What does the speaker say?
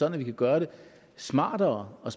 at vi kan gøre det smartere og